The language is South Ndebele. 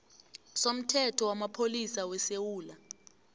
somthetho wamapholisa wesewula